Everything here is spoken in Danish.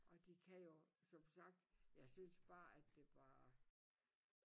Og de kan jo som sagt jeg synes bare at det var